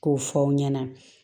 K'o fɔ aw ɲɛna